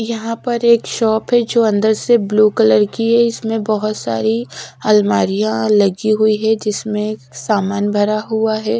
यहां पर एक शॉप है जो अंदर से ब्लू कलर की है इसमें बहुत सारी आलमारियां लगी हुई है जिसमें सामान भरा हुआ है।